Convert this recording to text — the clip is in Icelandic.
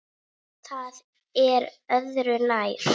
Það er öðru nær.